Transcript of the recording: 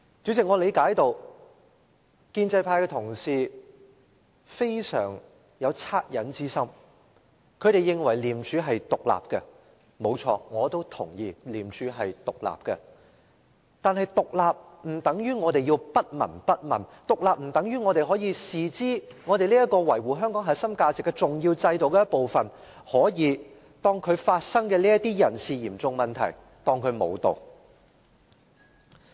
主席，我理解到建制派同事非常有惻隱之心，他們認為廉署是獨立的，不錯，我也認同廉署是獨立的，但獨立不等於我們不聞不問，獨立不等於我們可以把維護香港核心價值的重要制度的一部分當作不存在，可以把發生的嚴重人事問題當作不存在。